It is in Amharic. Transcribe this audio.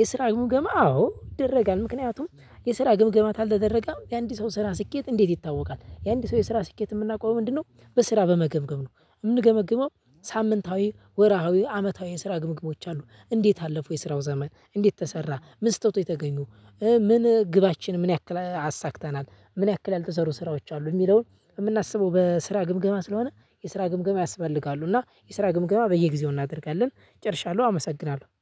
የስራ ግምገማ አዎ ይደረጋል ምክንያቱም የስራ ግምግማት ካልተደረገም የአንድ ሰው ስራ ስኬት እንዴት ይታወቃል? የአንድ ሰው የስራ ስኬት የምናውቀው ምንድነው? በስራ በመገምገም ነው የምንገመግመው። ሳምንታዊ ወርሃዊ አመታዊ የስራ ግምግሞች አሉ። እንዴት አለፈው የስራው ዘመን እንዴት ተሰራ ምን ስተቶች ተገኙ? ምን ግባችን ምን ያክል አሳክተናል? ምን ያክል ያልተሰሩ ስራዎች አሉ። የሚለውን የምናስበው በስራ ግምገማ ስለሆነ። የስራ ግምገማ ያስፈልጋሉ። እና የስራ ግምገማ በየጊዜው እናደርጋለን። ጨርሻለሁ አመሰግናለሁ